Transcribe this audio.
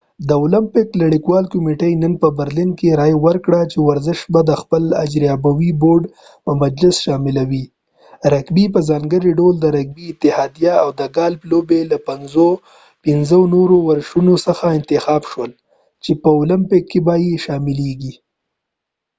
د اولمپیک نړیوالې کمیټې نن په برلین کې رایه ورکړه چې ورزش به د خپل اجراییوي بورډ په مجلس شاملوي رګبي په ځانګړي ډول د رګبي اتحادیه او د ګالف لوبې له پنځو نورو ورشونو څخه انتخاب شول چې په اولمپیک کې به یې شاملېږي